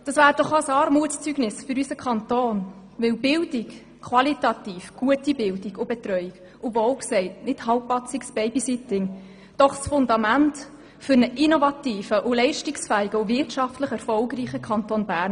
Das wäre ein Armutszeugnis für unseren Kanton, denn qualitativ gute Bildung und Betreuung und kein halbpatziges Babysitting sind das Fundament für einen innovativen, leistungsfähigen und wirtschaftlich erfolgreichen Kanton Bern.